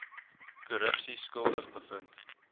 korrupsie skuldig bevind